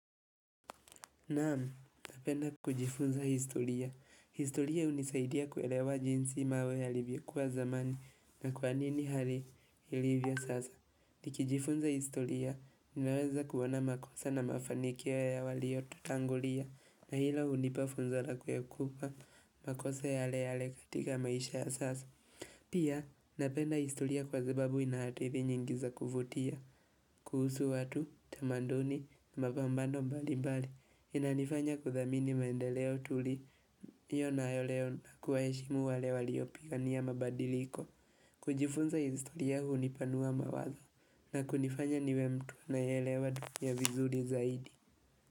Naam, napenda kujifunza historia. Historia unisaidia kuelewa jinsi mawe yalivyo kuwa zamani na kwa nini hali ilivyo sasa. Nikijifunza historia, ninaweza kuona makosa na mafanikio ya waliyo tutangulia na hilo unipa funza la kuekupa makosa yale yale katika maisha ya sasa. Pia, napenda historia kwa sababu inahadithi nyingi za kuvutia, kuhusu watu, tamanduni, mabambano mbali mbali, inanifanya kuthamini maendeleo tuli, hiyo na yoleo na kuwaheshimu wale waliopiga nia mabadiliko. Kujifunza historia unipanua mawazo, na kunifanya niwe mtu anayeelewa dunia vizuri zaidi.